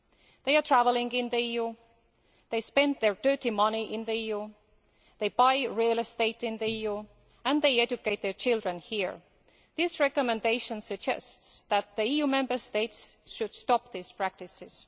They are travelling in the EU, they spend their dirty money in the EU, they buy real estate in the EU and they educate their children here. This recommendation suggests that the EU Member States should stop these practices.